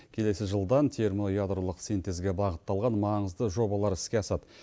келесі жылдан термоядролық синтезге бағытталған маңызды жобалар іске асады